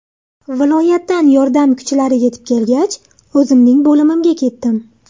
Viloyatdan yordam kuchlari yetib kelgach, o‘zimning bo‘limimga ketdim.